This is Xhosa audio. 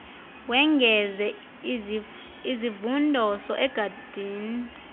wengeze izivundoso egadini